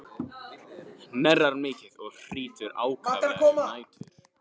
Hnerrar mikið og hrýtur ákaflega um nætur.